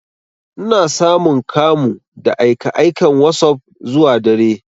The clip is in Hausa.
Ina samun kamu da aika aikan wasop zuwa dare.